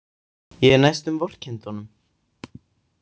Ég næstum vorkenndi honum.